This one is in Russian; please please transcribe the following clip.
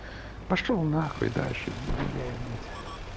пошёл на хуй дальше иди гуляй блять